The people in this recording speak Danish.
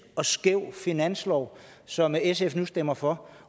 og skæv finanslov som sf nu stemmer for